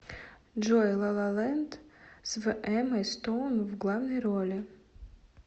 джой лалалэнд с в эммой стоун в главной роли